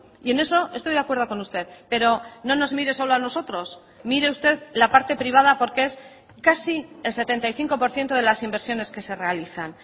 y en eso estoy de acuerdo con usted pero no nos mire solo a nosotros mire usted la parte privada porque es casi el setenta y cinco por ciento de las inversiones que se realizan